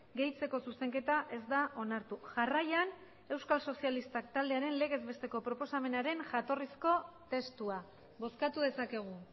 gehitzeko zuzenketa ez da onartu jarraian euskal sozialistak taldearen legez besteko proposamenaren jatorrizko testua bozkatu dezakegu